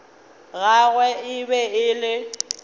gagwe e be e le